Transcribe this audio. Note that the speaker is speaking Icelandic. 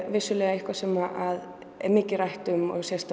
eitthvað sem er mikið rætt